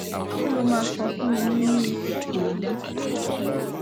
kí lo máa sọ fún mi nínú irú ipò yìí